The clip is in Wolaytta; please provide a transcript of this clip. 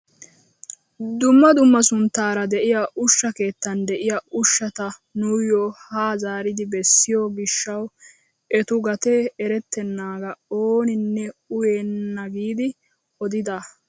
Dumma dumma sunttaara de'iyaa ushsha keettan de'iyaa ushshata nuuyo haa zaaridi bessiyoo gishshawu etu gatee erettenagaa ooninne uyenna giidi odida!